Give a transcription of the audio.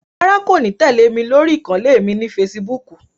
Rárá, kò ní tẹ́lẹ̀ mí lórí ìkànnlé mi ni feṣibúkù